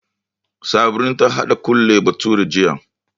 Sabrin ta haɗa Kole bathure jiya